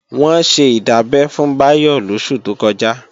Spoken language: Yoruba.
Wọ́n ṣe ìdábẹ́ fún Báyọ̀ lóṣù tó kọjá